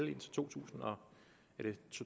det to tusind og